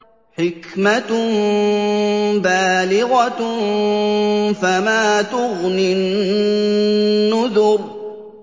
حِكْمَةٌ بَالِغَةٌ ۖ فَمَا تُغْنِ النُّذُرُ